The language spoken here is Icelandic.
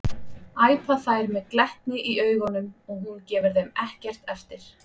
æpa þær með glettni í augunum og hún gefur þeim ekkert eftir.